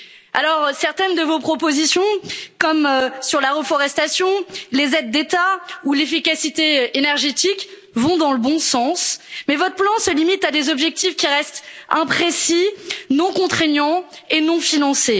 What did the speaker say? Alors certaines de vos propositions, comme sur la reforestation, les aides d'État ou l'efficacité énergétique vont dans le bon sens, mais votre plan se limite à des objectifs qui restent imprécis, non contraignants et non financés.